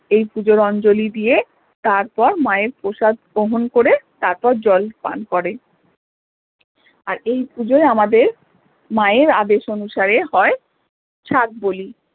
এই পূজোর অঞ্জলি দিয়ে তারপর মা এর প্রসাদ গ্রহণ করে তারপর জল পান করে আর এই পুজোয় আমাদের মা এর আদেশ অনুসারে হয়ে সাত বলি